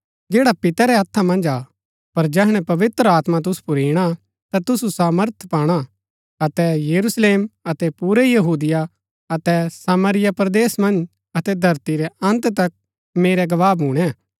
पर जैहणै पवित्र आत्मा तुसु पुर ईणा ता तुसु सामर्थ पाणा अतै यरूशलेम अतै पुरै यहूदिया अतै सामरिया परदेस मन्ज अतै धरती रै अन्त तक मेरै गवाह भूणै